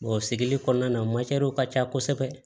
o sigili kɔnɔna na ka ca kosɛbɛ